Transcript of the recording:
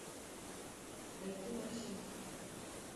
найти морщинки